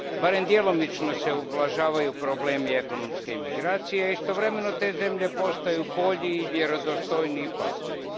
Barem djelomično se ublažavaju problemi ekonomske imigracije, istovremeno te zemlje postaju bolji i vjerodostojniji partneri.